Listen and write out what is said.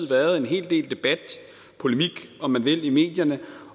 været en hel del debat polemik om man vil i medierne